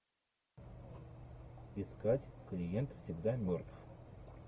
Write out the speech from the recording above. искать клиент всегда мертв